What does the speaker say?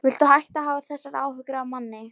Viltu hætta að hafa þessar áhyggjur af manni!